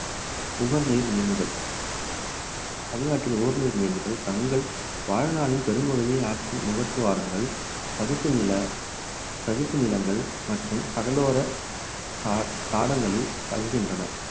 உவர்நீர் மீன்கள் தமிழ்நாட்டில் ஓரின மீன்கள் தங்கள் வாழ்நாளின் பெரும்பகுதியை ஆற்றின் முகத்துவாரங்கள் சதுப்பு நில சதுப்பு நிலங்கள் மற்றும் கடலோர தா~ தாடங்களில் கழிகின்றன